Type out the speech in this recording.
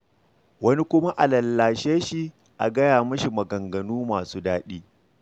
Wani kuma a lallashe shi, a gaya masa maganganu masu daɗi.